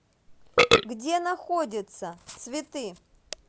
где находится цветы